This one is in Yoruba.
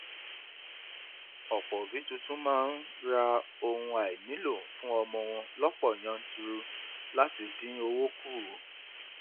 ọpọ òbí tuntun máa ń ra ohun àìnílò fún ọmọ wọn lọpọ yanturu láti dín owó kù